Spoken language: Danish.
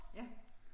Ja